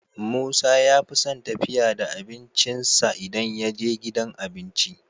musa yafison tafiya da abincin sa idan yaje gidan abinci